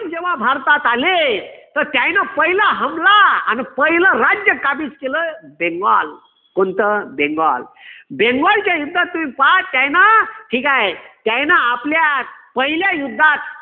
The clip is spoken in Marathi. जेव्हा भारतात आले तर त्यांनी पहिला हमला आणि पहिल राज्य काबीज केलं. बेंगॉल कोणता बेंगॉल बेंगॉलच्या युद्धात तुम्ही पहा त्यांनी ठीक आहे. त्यांनी आपल्या पहिल्या युद्धात